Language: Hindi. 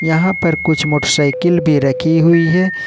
यहां पर कुछ मोटरसाइकिल भी रखी हुई हैं।